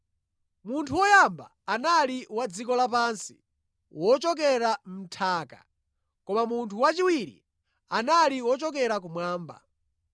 Munthu woyamba anali wa dziko lapansi, wochokera mʼnthaka koma munthu wachiwiri anali wochokera kumwamba.